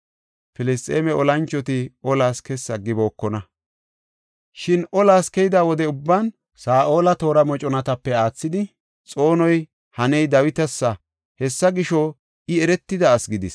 Filisxeeme olanchoti olas kessi aggibokona. Shin olas keyida wode ubban Saa7ola toora moconatape aathidi xoonoy haney Dawitasa; hessa gisho, I eretida asi gidis.